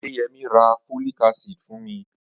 Adeyemi ra folic acid fún mi